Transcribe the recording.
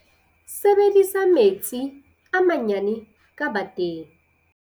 Sebedisa metsi a manyane ka bateng.